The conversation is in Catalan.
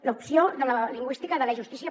l’opció lingüística de l’e justícia